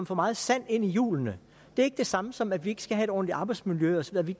for meget sand ind i hjulene det er ikke det samme som at vi ikke skal have et ordentligt arbejdsmiljø osv at vi